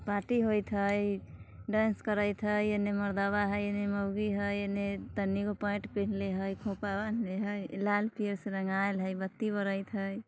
पार्टी होयत हई डांस करैत हई इने मरदवा हई इने मौगी हई इने तनी गो पैंट पिन्हले हई खोपा बांहले हई इ लाल-पीयर से रंगायल हई बत्ती बड़त हई।